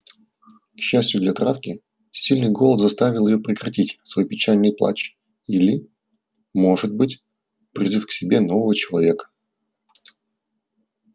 к счастью для травки сильный голод заставил её прекратить свой печальный плач или может быть призыв к себе нового человека